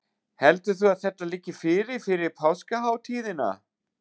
Heldur þú að þetta liggi fyrir fyrir páskahátíðina?